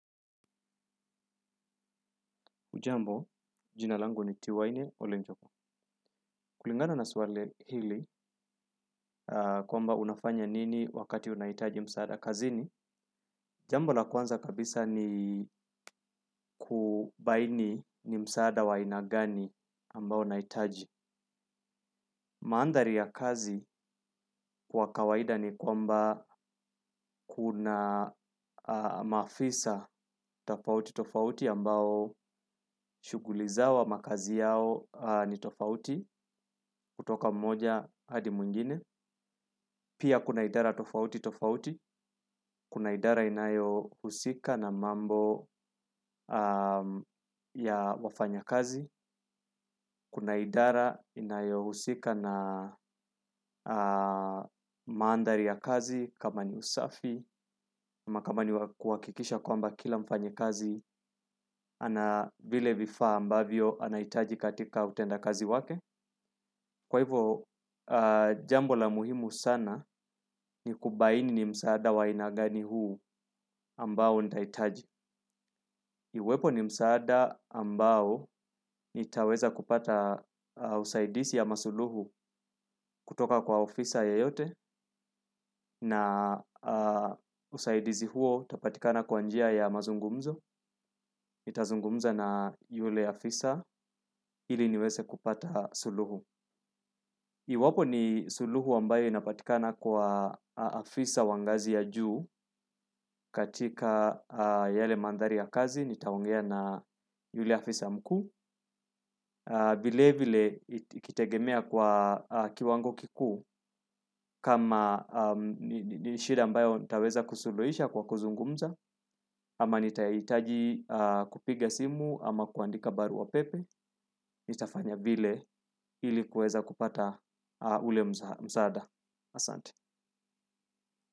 Ujambo, jinalangu ni tiwaini ole mjoko. Kulingana na swali hili kwamba unafanya nini wakati unaitaji msaada kazini. Ujambo na kwanza kabisa ni kubaini ni msaada wa aina gani ambao unaitaji. Maandhari ya kazi kwa kawaida ni kwamba kuna mafisa tofauti tofauti ambao shuguliza wa makazi yao ni tofauti kutoka mmoja hadi mwingine. Pia kuna idara tofauti kuna idara inyohusika na mambo ya kazi kuna idra inayo maandari ya kazi, kama ni usafi, kama kama ni wakikisha kwamba kila mfanya kazi, anavile vifaa ambavyo anaitaji katika utenda kazi wake. Kwa hivyo, jambo la muhimu sana ni kubaini ni msaada wa ainagani huu ambao ntaitaji. Iwepo ni msaada ambao nitaweza kupata usaidisi ama suluhu kutoka kwa ofisa yoyote na usaidisi huo tapatikana kwanjia ya mazungumzo. Itazungumza na yule afisa ili niweze kupata suluhu. Iwapo ni suluhu ambayo inapatikana kwa afisa wa ngazi ya juu katika yale mandhari ya kazi, nitaongea na yule afisa mkuu, vile vile ikitegemea kwa kiwango kikuu kama ni shida ambayo nitaweza kusuluhisha kwa kuzungumza, ama nitaitaji kupiga simu ama kuandika barua pepe, nitafanya bve ilikuweza kupata ule msaada asante.